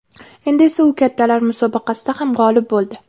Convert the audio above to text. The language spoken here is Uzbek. Endi esa u kattalar musobaqasida ham g‘olib bo‘ldi.